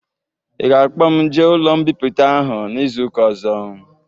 Ị ga-akpọ m jee ụlọ mbipụta ahụ n'izuka ozo?